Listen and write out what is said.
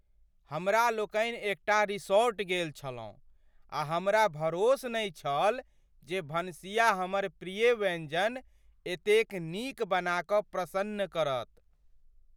हमरा लोकनि एकटा रिसॉर्ट गेल छलहुँ आ हमरा भरोस नहि छल जे भनसिया हमर प्रिय व्यञ्जन एतेक नीक बना क प्रसन्न करत ।